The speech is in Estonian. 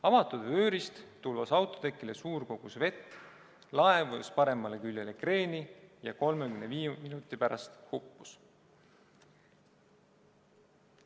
Avatud vöörist tulvas autotekile suur kogus vett, laev vajus paremale küljele kreeni ja 35 minuti pärast hukkus.